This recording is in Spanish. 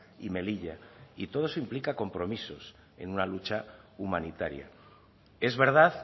y melilla y todo eso implica compromisos en una lucha humanitaria es verdad